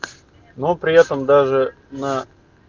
но при этом даже на